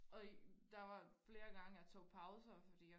og der var flere gange jeg tog pauser fordi